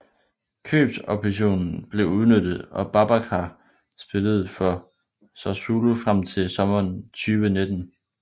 Købsoptionen blev udnyttet og Babacar spillede for Sassuolo frem til sommmeren 2019